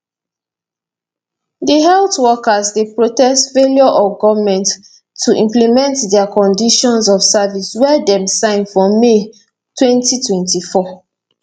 di health workers dey protest failure of goment to implement dia conditions of service wey dem sign for may 2024